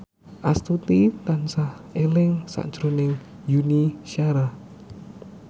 Astuti tansah eling sakjroning Yuni Shara